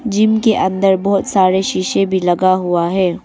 Gym के अंदर बहोत सारे शीशे भी लगा हुआ है।